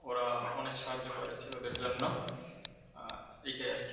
ওরা অনেক সাহায্য করেছে ওদের জন্য এটাই আর কি!